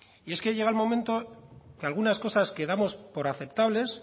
y es que llega el momento que algunas cosas que damos por aceptables